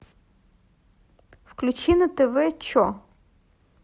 включи на тв че